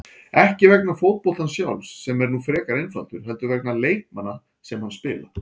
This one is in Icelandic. Ekki vegna fótboltans sjálfs, sem er nú frekar einfaldur, heldur vegna leikmanna sem hann spila.